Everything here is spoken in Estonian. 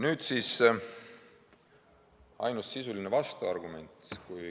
Nüüd siis ainus sisuline vastuargument.